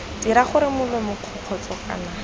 dira gore molomo kgokgotsho kana